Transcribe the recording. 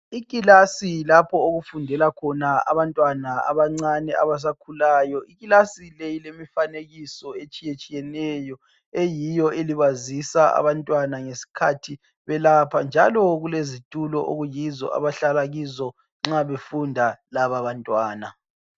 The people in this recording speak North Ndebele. Ikilasi lapho okufundela khona abantwana abancane abasakhulayo. Ikilasi le ilemifanekiso etshiyetshiyeneyo eyiyo elibazisa abantwana ngesikhathi belapha njalo kulezitulo okuyizo abahlala kizo nxa befunda lababantwana